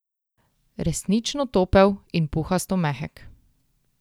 Resnično topel in puhasto mehek.